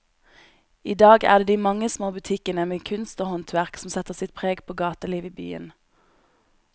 I dag er det de mange små butikkene med kunst og håndverk som setter sitt preg på gatelivet i byen.